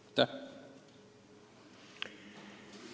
Aitäh!